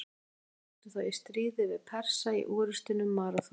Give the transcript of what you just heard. Grikkir áttu þá í stríði við Persa í orrustunni um Maraþon.